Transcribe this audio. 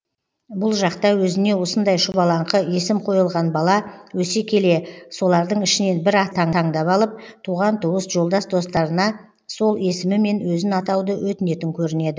бұл жақта өзіне осындай шұбалаңқы есім қойылған бала өсе келе солардың ішінен бір атты таңдап алып туған туыс жолдас достарына сол есімімен өзін атауды өтінетін көрінеді